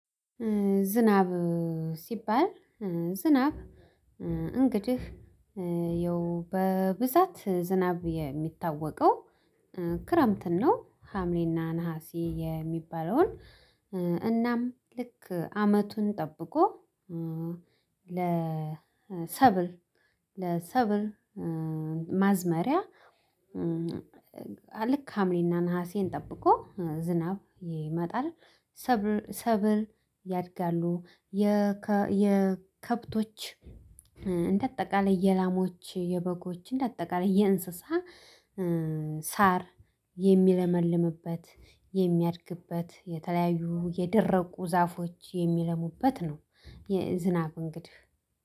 ዝናብ ሲባል ዝናብ እንግዲህ ያው በብዛት ዝናብ የሚታወቀው ክረምትን ነው። ሀምሌና ነሀሲ የሚባለውን እናም ልክ አመቱን ጠብቆ ለሰብል ለሰብል ለሰብር ማዝመሪያ ልክ ሀምሌና ነሀሴን ጠብቆ ዝናብ ይመጣል። ሰብል ያድጋሉ። የከብቶች እንደ አጠቃላይ የላሞች የበጎች እንደ አጠቃላይ የእንስሳ ሳር የሚለመልምበት የሚያድግበት የተለያዩ የደረቁ ዛፎች የሚለሙበት ነው። የዝናብ እንግዲህ